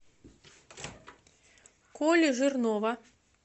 коли жирнова